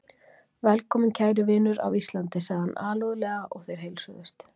Velkominn kæri vinur af Íslandi, sagði hann alúðlega og þeir heilsuðust.